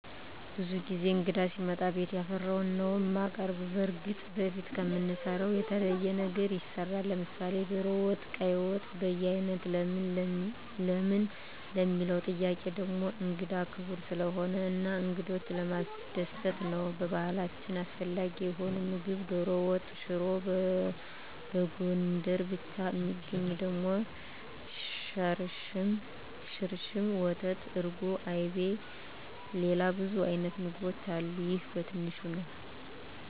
ብዙ ጊዜ እንግዳ ሲመጣ ቤት ያፈራዉን ነዉ እማቀርብ። በርግጥ በፊት ከምንሰራዉ የተለየ ነገር ይሰራል፤ ለምሳሌ ዶሮ ወጥ፣ ቀይ ወጥ፣ በያይነት ለምን ለሚለዉ ጥያቄ ደሞ እንግዳ ክቡር ስለሆነ እና እንግዶችን ለማስደሰት ነዉ። በባህላችን አስፈላጊ የሆነዉ ምግብ ዶሮ ወጥ፣ ሽሮ፣ በጎንደር ብቻ እሚገኝ ደሞ ሽርሽም፣ ወተት፣ እርጎ፣ አይብ፣ ሌላ ብዙ አይነት ምግቦች አሉ ይሄ በትንሹ ነዉ።